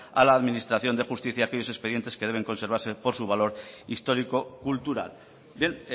a la administración de justicia aquellos expedientes que deben preservarse por su valor histórico cultural bien